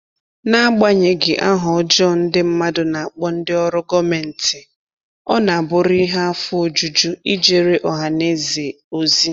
N'agbanyeghị aha ọjọọ ndị mmadụ na-akpọ ndị ọrụ gọọmentị, ọ na-abụrụ ihe afọ ojuju ijere ọha na eze ozi